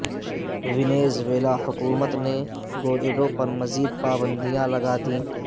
Venezuela حکومت نے Guaido پر مزید پابندیاں لگا دیں